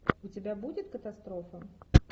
у тебя будет катастрофа